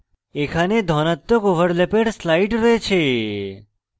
এখানে ধনাত্মক ওভারল্যাপের slide রয়েছে